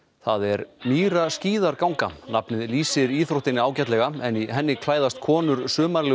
það er nafnið lýsir íþróttinni ágætlega en í henni klæðast konur